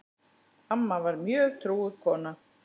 Amma var mjög trúuð kona.